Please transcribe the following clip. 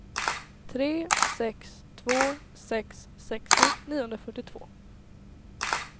tre sex två sex sextio niohundrafyrtiotvå